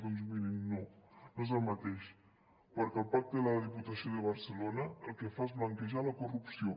doncs mirin no no és el mateix perquè el pacte de la diputació de barcelona el que fa és blanquejar la corrupció